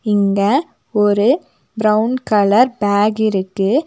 இங்க ஒரு brown colour bag இருக்கு.